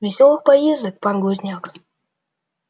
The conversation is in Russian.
весёлых поездок пан глузняк